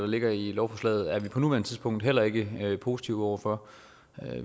ligger i lovforslaget er vi på nuværende tidspunkt heller ikke positive over for